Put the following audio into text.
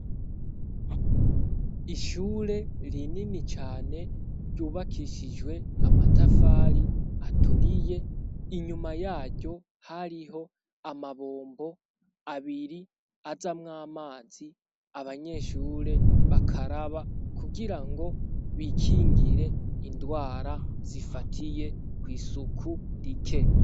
Ishure ri nini cane ryubakishijwe amatafari aturiye inyuma yaryo hariho amabombo abiri azamwo amazi abanyeshure bakaraba kugira ngo bikingire indwara zifatiye kw'isuku rike.